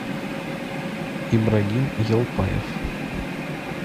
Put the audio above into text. ибрагим елпаев